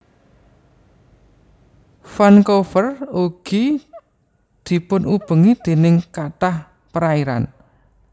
Vancouver ugi dipunubengi déning kathah perairan